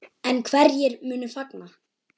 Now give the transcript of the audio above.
En hverjir munu fagna?